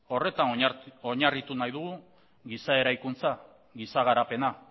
horretan oinarritu nahi dugu giza eraikuntza giza garapena